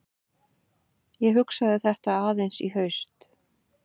Ég hugsaði þetta aðeins í haust.